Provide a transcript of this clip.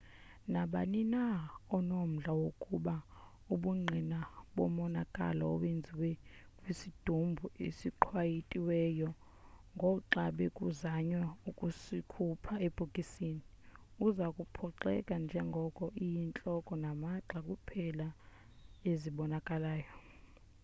nabani na onomdla wokubona ubungqina bomonakalo owenziwe kwisidumbu esiqwayitiweyo ngoxa bekuzanywa ukusikhupha ebhokisini uza kuphoxeka njengoko iyintloko namagxa kuphela ezibonakalayo